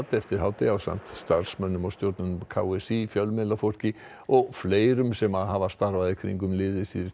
eftir hádegi ásamt starfsmönnum og stjórnendum k s í fjölmiðlafólki og fleirum sem hafa starfað í kringum liðið síðustu